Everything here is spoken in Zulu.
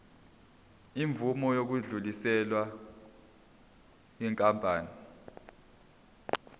imvume yokudluliselwa yinkampani